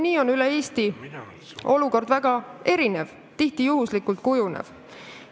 Nii on olukord üle Eesti väga erinev, tihti juhuslikult kujunev.